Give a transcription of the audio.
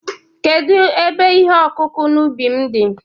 kedu ebe ihe ọkụkụ n'ubi m di?